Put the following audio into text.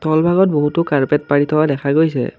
তলভাগত বহুতো কাৰ্পেট পাৰি থোৱা দেখা গৈছে।